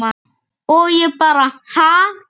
Og ég bara ha?